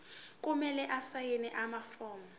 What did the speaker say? kumele asayine amafomu